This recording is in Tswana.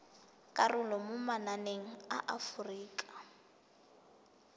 karolo mo mananeng a aforika